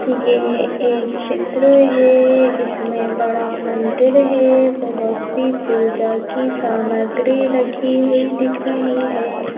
ये एक चित्र है इसमें बड़ा मंदिर है बहुत सी पूजा की सामग्री रखी हुई दिख रही है।